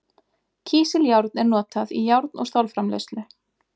kísiljárn er notað í járn og stálframleiðslu